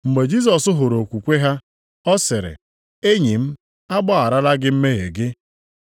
Mgbe Jisọs hụrụ okwukwe ha, ọ sịrị, “Enyi m, a gbagharala gị mmehie gị.”